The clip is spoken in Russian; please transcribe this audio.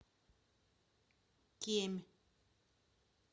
кемь